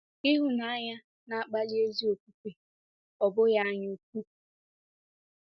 Ịhụnanya, na-akpali ezi ofufe, ọ bụghị anyaukwu.